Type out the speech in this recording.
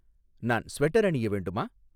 நான் ஸ்வெட்டர் அணிய வேண்டுமா